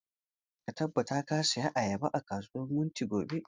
Ka tabbata ka saya ayaba a kasuwar wunti gobe!